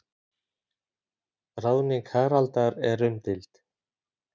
Ráðning Haraldar er umdeild.